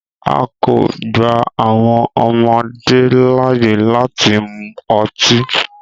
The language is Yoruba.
A kò gba àwọn ọmọdé láàyè láti mu ọtí.